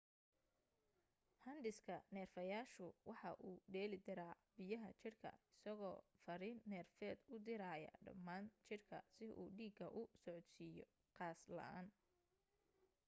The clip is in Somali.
handhiska neerfayaashu waxa uu dheelitiraa biyaha jirka isagoo fariin neerfeed u diraya dhammaan jirka si uu dhiiga u socodsiiyo qas la'aan